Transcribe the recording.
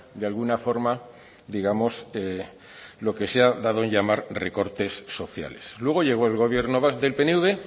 de alguna forma digamos lo que se ha dado en llamar recortes sociales luego llegó el gobierno del pnv